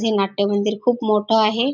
हे नाट्यमंदिर खूप मोठ आहे.